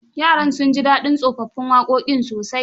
Yaran sun ji dadin tsofaffin waƙoƙin sosai..